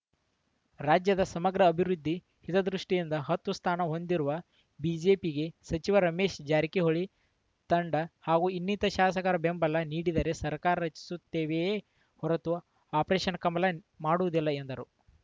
ರಾಜ್ಯದ ಸಮಗ್ರ ಅಭಿವೃದ್ಧಿ ಹಿತದೃಷ್ಟಿಯಿಂದ ಹತ್ತು ಸ್ಥಾನ ಹೊಂದಿರುವ ಬಿಜೆಪಿಗೆ ಸಚಿವ ರಮೇಶ ಜಾರಕಿಹೊಳಿ ತಂಡ ಆಗು ಇನ್ನಿತರ ಶಾಸಕರು ಬೆಂಬಲ ನೀಡಿದರೆ ಸರ್ಕಾರ ರಚಿಸುತ್ತೇವೆಯೇ ಹೊರತು ಆಪರೇಷನ್‌ ಕಮಲ ಮಾಡುವುದಿಲ್ಲ ಎಂದರು